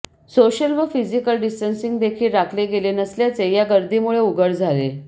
social व physical distancing देखील राखले गेले नसल्याचे या गर्दीमुळे उघड झाले